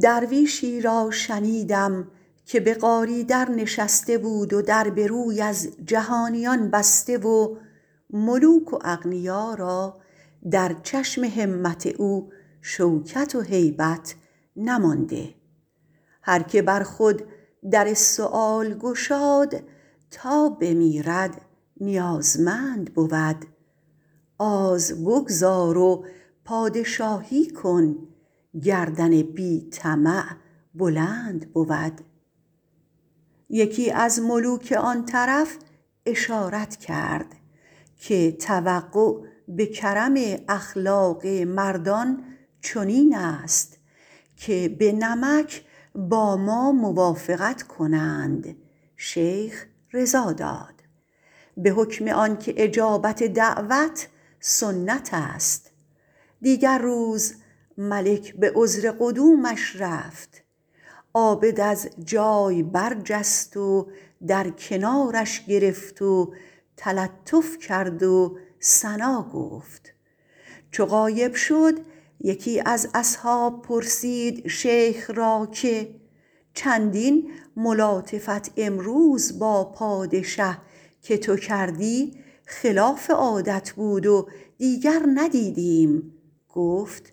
درویشی را شنیدم که به غاری در نشسته بود و در به روی از جهانیان بسته و ملوک و اغنیا را در چشم همت او شوکت و هیبت نمانده هر که بر خود در سؤال گشاد تا بمیرد نیازمند بود آز بگذار و پادشاهی کن گردن بی طمع بلند بود یکی از ملوک آن طرف اشارت کرد که توقع به کرم اخلاق مردان چنین است که به نمک با ما موافقت کنند شیخ رضا داد به حکم آن که اجابت دعوت سنت است دیگر روز ملک به عذر قدومش رفت عابد از جای برجست و در کنارش گرفت و تلطف کرد و ثنا گفت چو غایب شد یکی از اصحاب پرسید شیخ را که چندین ملاطفت امروز با پادشه که تو کردی خلاف عادت بود و دیگر ندیدیم گفت